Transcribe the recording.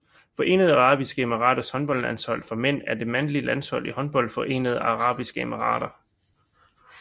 Forenede Arabiske Emiraters håndboldlandshold for mænd er det mandlige landshold i håndbold for Forenede Arabiske Emirater